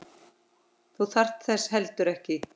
Þú þarft þess heldur ekki.